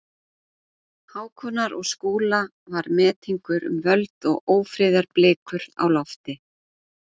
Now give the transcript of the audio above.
Hákonar og Skúla var metingur um völd og ófriðarblikur á lofti.